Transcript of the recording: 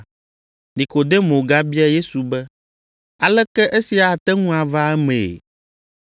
Nikodemo gabia Yesu be, “Aleke esia ate ŋu ava emee?”